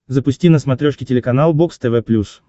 запусти на смотрешке телеканал бокс тв плюс